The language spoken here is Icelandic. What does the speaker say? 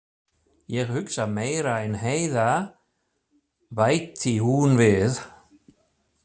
Ég hugsa meira en Heiða, bætti hún við.